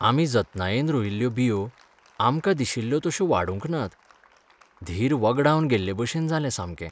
आमी जतनायेन रोयिल्ल्यो बियो आमकां दिशिल्ल्यो तशो वाडूंक नात. धीर वगडावन गेल्लेभशेन जालें सामकें.